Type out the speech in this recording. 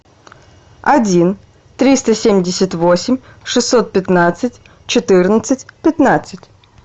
один триста семьдесят восемь шестьсот пятнадцать четырнадцать пятнадцать